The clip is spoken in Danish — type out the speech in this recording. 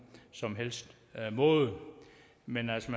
som helst måde men altså